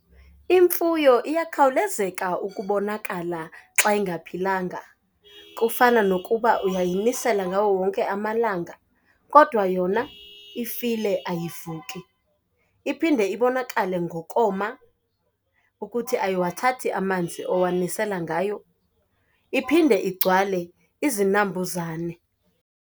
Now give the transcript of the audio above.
Imfuyo iyakhawulezeka ukubonakala xa ingaphilanga. Kufana nokuba uyayimisela ngawo wonke amalanga kodwa yona ifile ayivuki. Iphinde ibonakale ngokoma ukuthi ayiwathathi amanzi owamisela ngayo. Iphinde igcwale izinambuzane.